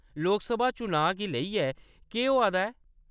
लोकसभा चुनांऽ गी लेइयै केह्‌‌ होआ दा ऐ ?